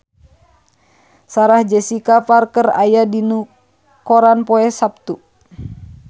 Sarah Jessica Parker aya dina koran poe Saptu